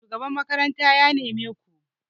shugaban makaranta ya neme ku!